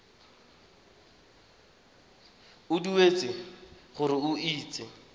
o dumetse gore o itse